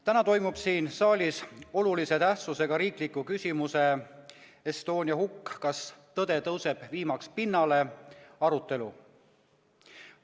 Täna toimub siin saalis olulise tähtsusega riikliku küsimuse "Estonia hukk – kas tõde tõuseb viimaks pinnale?" arutelu.